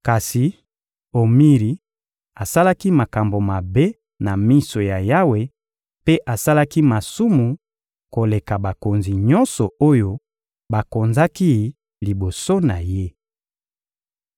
Kasi Omiri asalaki makambo mabe na miso ya Yawe mpe asalaki masumu koleka bakonzi nyonso oyo bakonzaki liboso na ye.